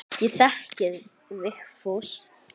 Ég þekki Vigfús.